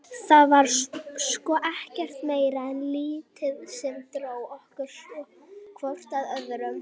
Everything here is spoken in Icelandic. Það var sko ekkert meira en lítið sem dró okkur hvort að öðru.